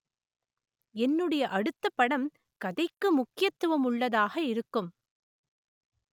என்னுடைய அடுத்த படம் கதைக்கு முக்கியத்துவம் உள்ளதாக இருக்கும்